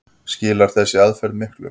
Skilar þessi aðferð miklu?